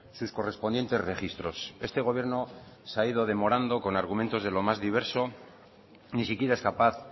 sus correspondientes registros este gobierno se ha ido demorando con argumentos de lo más diverso ni siquiera es capaz